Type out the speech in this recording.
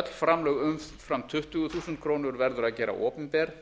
öll framlög umfram tuttugu þúsund króna verður að gera opinber